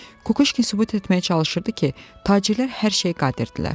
Kukuşkin sübut etməyə çalışırdı ki, tacirlər hər şeyə qadirdirlər.